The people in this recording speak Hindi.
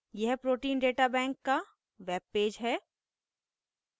यह protein data bank का web पेज है